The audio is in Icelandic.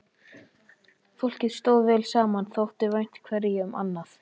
Fólkið stóð vel saman, þótti vænt hverju um annað.